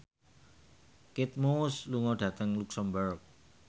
Kate Moss lunga dhateng luxemburg